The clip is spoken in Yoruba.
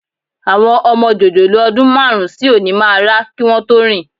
Àwọn ọmọ jòjòló ọdún márùn-ún sí òní máa rá kí wọn tó rìn